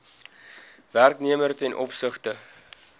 werknemer ten opsigte